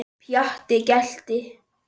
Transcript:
Pjatti gelti.